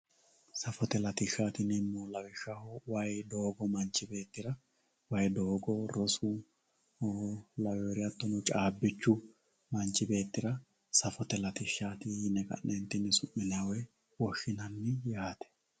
safote latishshaati yinannihu lawishshaho waye doogo hattono caabbichu manchu beettira safote latishshaati yine woshshinanni yaate